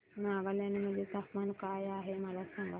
नागालँड मध्ये तापमान काय आहे मला सांगा